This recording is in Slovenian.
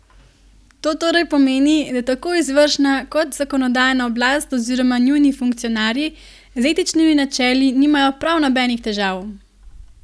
To torej pomeni, da tako izvršna kot zakonodajna oblast oziroma njuni funkcionarji z etičnimi načeli nimajo prav nobenih težav?